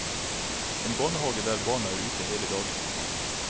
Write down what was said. En barnehage der barna er ute hele dagen.